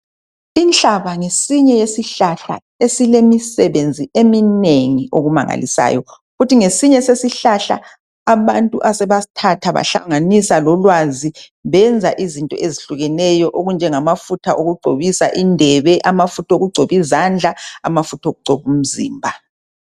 Inhlaba ngesinye isihlahla esemisebenzi eminengi okumangalisayo. Kuthi ngesinye sesihlahla abantu asebasthatha bahlanganisa lolwazi benza izinto ezihlukeneyo okunjengamafutha okugcobisa indebe, amafutha okugcoba izandla, amafutha okugcoba umzimba.